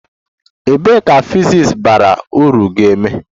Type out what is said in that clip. Ebee ka physics bara uru ga-eme?